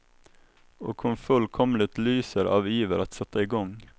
Och hon fullkomligt lyser av iver att sätta i gång.